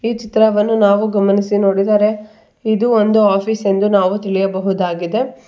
ಈ ಚಿತ್ರವನ್ನು ನಾವು ಗಮನಿಸಿ ನೋಡಿದರೆ ಇದು ಒಂದು ಆಫೀಸ್ ಎಂದು ನಾವು ತಿಳಿಯಬಹುದಾಗಿದೆ.